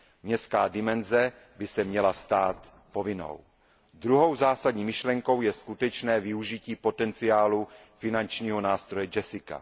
Městská dimenze by se měla stát povinnou. Druhou zásadní myšlenkou je skutečné využití potenciálu finančního nástroje JESSICA.